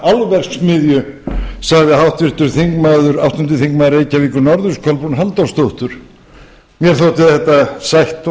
álverksmiðju sagði háttvirtur þingmaður reyk n kolbrún halldórsdóttir mér þótti þetta sætt og